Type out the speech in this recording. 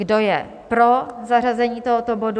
Kdo je pro zařazení tohoto bodu?